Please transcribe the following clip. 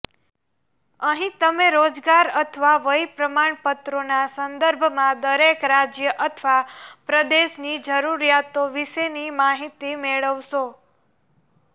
અહીં તમે રોજગાર અથવા વય પ્રમાણપત્રોના સંદર્ભમાં દરેક રાજ્ય અથવા પ્રદેશની જરૂરિયાતો વિશેની માહિતી મેળવશો